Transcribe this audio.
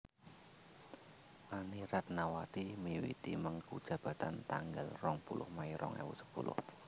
Anny Ratnawati miwiti mengku jabatan tanggal rong puluh Mei rong ewu sepuluh